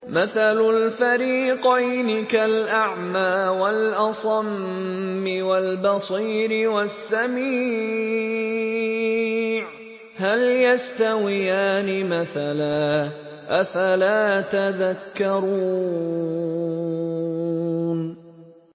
۞ مَثَلُ الْفَرِيقَيْنِ كَالْأَعْمَىٰ وَالْأَصَمِّ وَالْبَصِيرِ وَالسَّمِيعِ ۚ هَلْ يَسْتَوِيَانِ مَثَلًا ۚ أَفَلَا تَذَكَّرُونَ